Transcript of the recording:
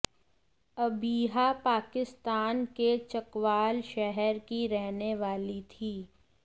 अबीहा पाकिस्तान के चकवाल शहर की रहने वाली थी